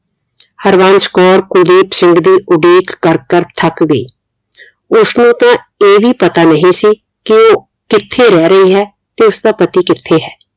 ਹਰਵੰਸ਼ ਕੌਰ ਕੁਲਦੀਪ ਸਿੰਘ ਦੀ ਉਡੀਕ ਕਰ ਕਰ ਥੱਕ ਗਈ ਉਸ ਨੂੰ ਤਾ ਇਹ ਵੀ ਪਤਾ ਨਹੀਂ ਸੀ ਕਿ ਉਹ ਕਿਥੇ ਰਹਿ ਰਹੀ ਹੈ ਤੇ ਉਸਦਾ ਪਤੀ ਕਿਥੇ ਹੈ